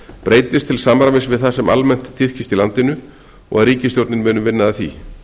breytist til samræmis við það sem almennt tíðkist í landinu og að ríkisstjórnin muni vinna að því